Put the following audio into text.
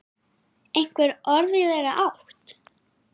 Einhver orð í þeirra átt?